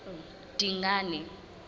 dingane